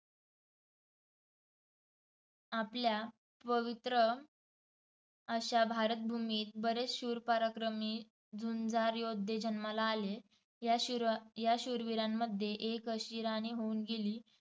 आपल्या पवित्र अशा भारतभूमीत बरेच शूर, पराक्रमी, झुंजार योद्धे जन्माला आले. या शूराशूरविरांमध्ये एक अशी राणी होऊन गेली